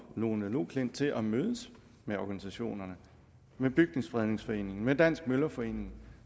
lone loklindt til at mødes med organisationerne med bygningsfredningsforeningen med dansk møllerforening